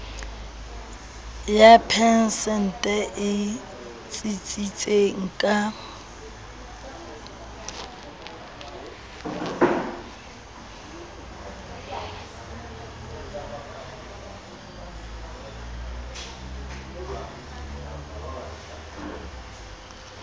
ya phesente e tsitsitseng ka